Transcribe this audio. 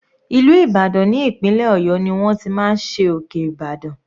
Ìlú Ìbàdàn ní ìpínlẹ̀ ọ̀yọ́ ni wọ́n ti máa ń ṣe òkè Ibadan.